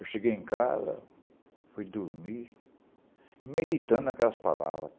Eu cheguei em casa, fui dormir, meditando aquelas palavra